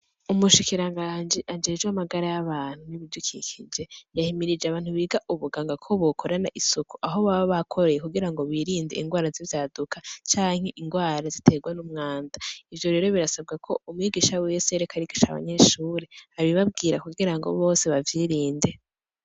Umushikiranganji ajejwe amagara y'abantu n'ibidukikije yahimirije abantu biga ubuganga ko bokorana isuku aho baba bakoreye kugira ngo birinde indwara z'ivyaduka canke indwara ziterwa n'umwanda, ivyo birasabwa ko umwigisha wese ariko arigisha abanyeshure abibabwirra kugira bose bavyirinde.